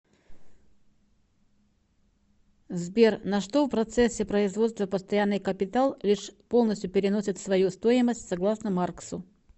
сбер на что в процессе производства постоянный капитал лишь полностью переносит свою стоимость согласно марксу